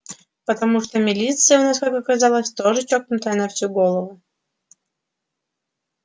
потому что милиция у нас как оказалось тоже чокнутая на всю голову